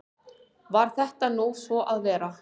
Varð þetta nú svo að vera.